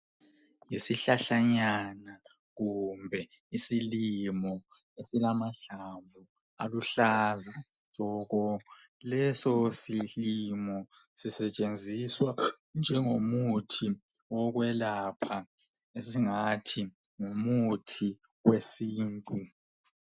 Isihlahlanyana kumbe isilimo esilamahlamvu aluhlaza tshoko leso silimo sisetshenziswa njengomuthi wokwelapha esingathi ngumuthi wesintu.